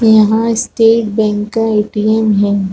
यहां state bank का ATM है।